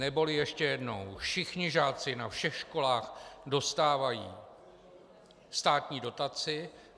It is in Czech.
Neboli ještě jednou: Všichni žáci na všech školách dostávají státní dotaci.